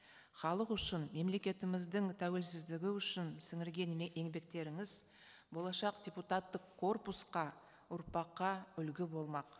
халық үшін мемлекетіміздің тәуелсіздігі үшін сіңірген еңбектеріңіз болашақ депутаттық корпусқа ұрпаққа үлгі болмақ